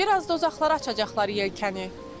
Bir az da uzaqlara açacaqlar yelkəni.